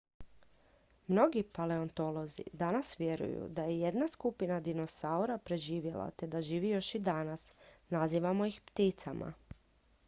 mnogi paleontolozi danas vjeruju da je jedna skupina dinosaura preživjela te da živi još i danas nazivamo ih pticama